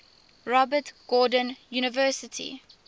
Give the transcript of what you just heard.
robert gordon university